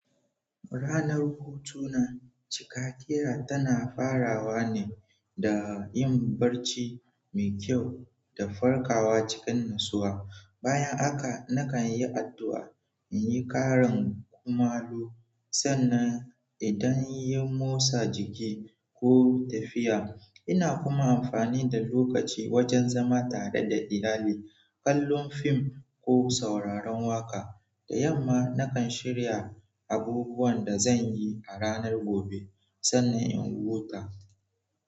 Ranar hutu na, cikakera tana farawa ne da yin barci mai kyau da farkawa cikin natsuwa. Bayan haka nakan yi addu'a, in yi ƙarin kumallo, sannan idan yi motsa jiki ko tafiya. Ina kuma amfani da lokaci wajen zama tare da iyalai, kallon fim ko sauraron waƙa. Da yamma, nakan shirya abubuwan da zan yi a ranar gobe sannan in wuta.